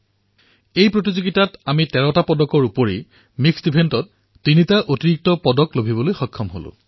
এই আয়োজনত আমি ১৩টা পদকৰ উপৰিও মিক্স ইভেণ্টত ৩টা পদক অৰ্জন কৰিছোঁ